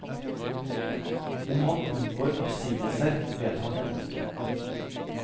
Om han unngår oppsigelser, vet han ennå ikke.